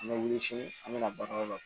An bɛ wuli sini an bɛ na baarayɔrɔ la